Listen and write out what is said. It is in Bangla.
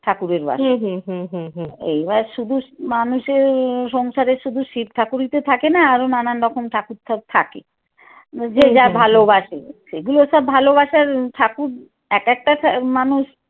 ঠাকুরের বাসায় এইবার শুধু মানুেষের সংসারে তো শুধু শিব ঠাকুরই থাকেনা আরো নানান রকম ঠাকুর তো থাকে। যে যা ভালোবাসে বুঝছো এইগুলো সব ভালোবাসার ঠাকুর এক একটা মানুষ।